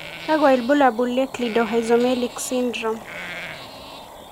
kakwa ibulaul o Cleidorhizomelic syndrome.